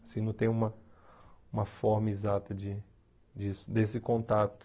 Assim, não tem uma uma forma exata de disso desse contato.